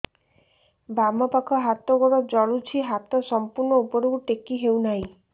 ବାମପାଖ ହାତ ଗୋଡ଼ ଜଳୁଛି ହାତ ସଂପୂର୍ଣ୍ଣ ଉପରକୁ ଟେକି ହେଉନାହିଁ